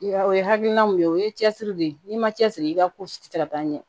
O ye hakilina mun ye o ye cɛsiri de ye n'i ma cɛsiri i ka ko si tɛ se ka taa ɲɛ